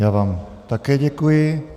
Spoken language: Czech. Já vám také děkuji.